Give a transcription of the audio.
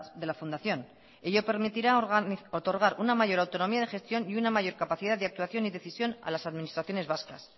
de la fundación ello permitirá otorgar una mayor autonomía de gestión y una mayor capacidad de actuación y decisión a las administraciones vascas